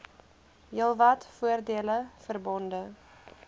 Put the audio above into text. heelwat voordele verbonde